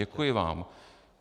Děkuji vám.